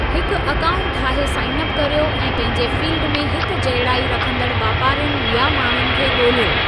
हिकु अकाउंट ठाहे sign up करियो ऐं पंहिंजे फ़ील्डि में हिकजहिड़ाई रखंदड़ वापारियुनि या माण्हुनि खे ॻोल्हियो।